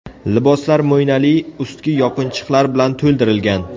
Liboslar mo‘ynali ustki yopinchiqlar bilan to‘ldirilgan.